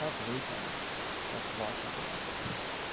как вы там как как ваши дела